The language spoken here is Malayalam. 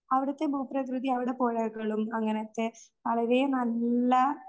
അവിടുത്തെ ഭൂപ്രകൃതി അവിടെ പോയാലെ